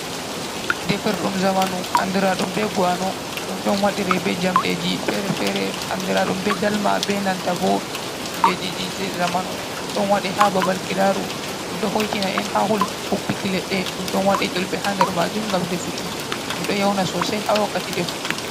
Defirɗum zamanu andiraɗum be ganum ɗum ɗon wadire be jamdeji fere-fereen andiraɗum be dalma benanta bo kujejiji zamanu, ɗum ɗon waɗe ha ba bal kilaru ɗum ɗow hoitina en ha huɓbiki leɗɗe ɗum ɗon waɗe ƴulbe ha nder majum ngam defuki ɗum ɗon yauna sosai ha wakkati defuki.